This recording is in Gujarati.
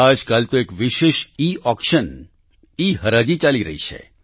આજકાલ એક વિશેષ ઈઓક્શન ઈહરાજી ચાલી રહી છે